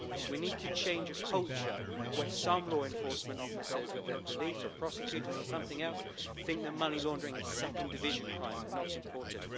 We need to change a culture where some law enforcement officers, be they police or prosecutors or something else, think that money laundering is second division crime and not important.